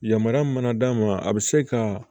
Yamaruya mana d'a ma a bɛ se ka